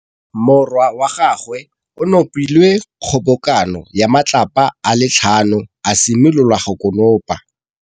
Morwa wa gagwe o nopile kgobokanô ya matlapa a le tlhano, a simolola go konopa.